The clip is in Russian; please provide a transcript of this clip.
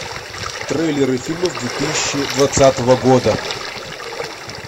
трейлеры фильмов две тысячи двадцатого года